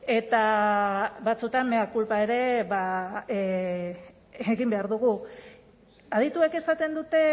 eta batzuetan mea culpa ere egin behar dugu adituek esaten dute